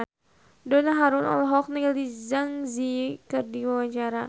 Donna Harun olohok ningali Zang Zi Yi keur diwawancara